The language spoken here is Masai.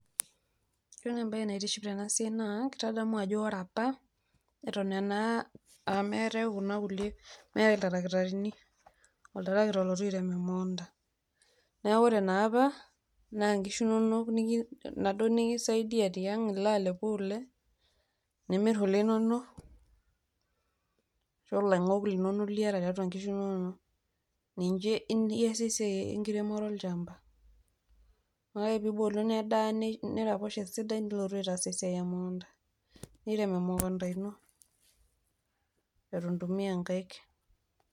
Ore naa ebaye naatiship ena siai naa ketadamu ajo ore epaa etuwuen naa meetai kuna nkulee meetai iltaratarini oltarakita olotuu ereem omoonta. Naa ore naa epaa na nkishuu inonok nadoo nikisaidia te ang aloo alepuu kulee. Niimir kulee inonok to long'ok nilolo nieta teatua nkishu inonok naije easie esiai enkiromoro le lchamba. Oe piiboluu nedaa neirapoosho sidai nilootu ataas siai e moonta nireem emoontanoo etua itimia nkaik.